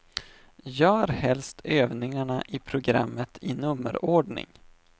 Gör helst övningarna i programmet i nummerordning.